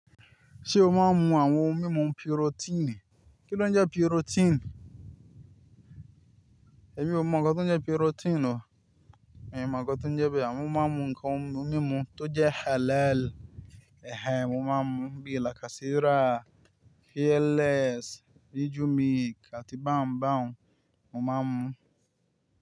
Ṣé o máa ń mu àwọn ohun mímu piròtínì? Kí ló ń jẹ piròtínì? Emi o mọ nkan tó ń jẹ piròtínì o. Emi o mọ nkan tó ń jẹ bẹ́ẹ̀, àmọ́ mo ma n mú ń kan ohun mímu tó jẹ́ halal. Ẹ̀hẹ́n, ọmọ mú ń bi làkàsírà, Fearless, vijumilk àti báńbáń mo ma n mú.